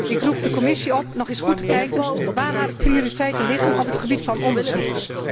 Ik roep de Commissie op nog eens goed te kijken waar haar prioriteiten liggen op het gebied van onderzoek.